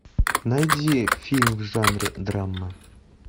найди фильм в жанре драма